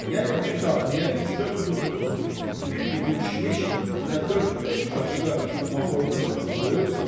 Yəni bir daqmaya üç-dörd put duz, bir qutu kişmiş və dörd-beş paçka maxorka tütünü qoyub satır.